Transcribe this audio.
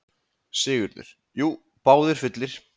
SIGURÐUR: Jú, báðir fullir.